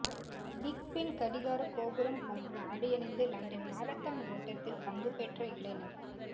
big Ben கடிகாரக் கோபுரம் போன்று ஆடையணிந்து லண்டன் மரதன் ஓட்டத்தில் பங்குபற்றிய இளைஞர்